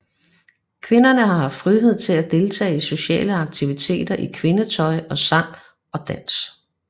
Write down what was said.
Kvinderne har haft frihed til at deltage i sociale aktiviteter i kvindetøj og sang og dans